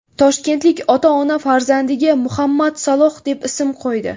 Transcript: Toshkentlik ota-ona farzandiga Muhammad Saloh deb ism qo‘ydi .